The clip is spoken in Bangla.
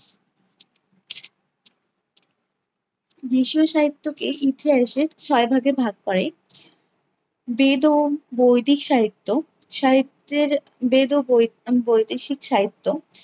দেশীয় সাহিত্যকে ইতিহাসে ছয় ভাগে করে। বেদ ও বৈদিক সাহিত্য সাহিত্যের বেদ ও বৈ~ আহ বৈদেশিক সাহিত্য